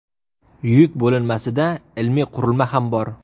Yuk bo‘linmasida ilmiy qurilma ham bor.